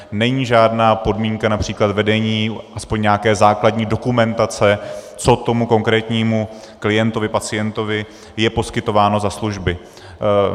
Není žádná podmínka například vedení aspoň nějaké základní dokumentace, co tomu konkrétnímu klientovi, pacientovi je poskytováno za služby.